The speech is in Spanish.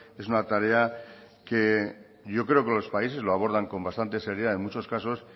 es una tarea que yo creo que los países lo abordan con bastante seriedad en muchos casos